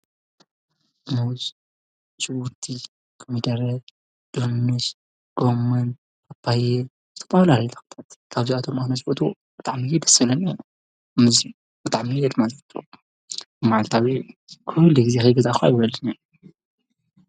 ሙዝ፣ ሽጉርቲ፣ ኮሚደረ፣ ዱኑሽ፣ ጎሞን፣ ፓፖየ ዝተፈላለዩ ዓይነታት ተኽልታት ካብዚኣቶም ኣነ ዝፈትዎ ብጣዕሚ ደስ ዝብለኒ ሙዝ እዩ፡፡ ብጣዕሚ እየ ድማ ዝፈትዎ፡፡ መዓልታዊ ኩሉ ግዜ ከይገዛእኩ ኣይውዕልን እየ፡፡